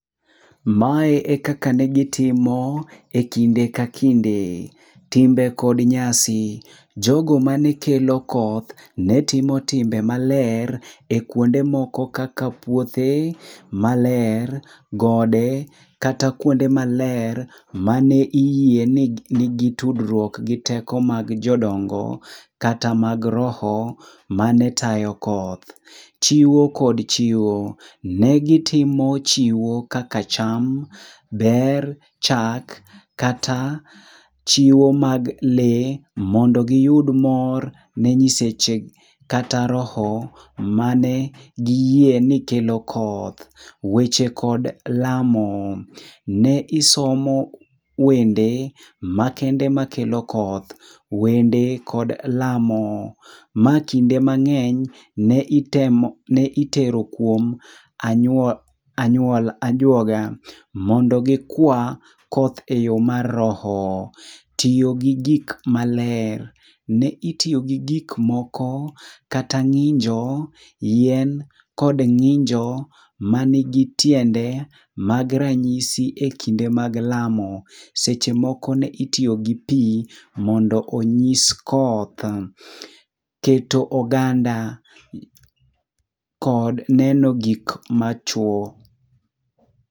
Mae e kaka ne gitimo e kinde ka kinde. Timbe kod nyasi: jogo mane kelo koth ne timo timbe maler e kuonde moko kaka puothe maler, gode kata kuonde maler. Mane iyie ni nigi tudruok gi teko mag jodongo kata mag roho mane tayo koth. Chiwo kod chiwo: ne gitimo chiwo kaka cham, bel, chak, kata chiwo mag lee mondo giyud mor ne nyiseche kata roho mane giyie ni kelo koth. Weche kod lamo: ne isomo wende makende makelo koth. Wende kod lamo: ma kinde mang'eny ne itero kuom anyuola, ajuoga, mondo gikwa koth e yo mar roho. Tiyo gi gik maler: ne itiyo gi gik moko kata ng'injo, yien, kod ng'injo manigi tiende mag ranyisi e kinde mag lamo. Seche moko ne itiyo gi pi mondo onyis koth. Keto oganda kod neno gik machwo.